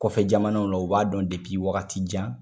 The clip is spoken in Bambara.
Kɔfɛ jamanaw la o b'a dɔn depi wagati jan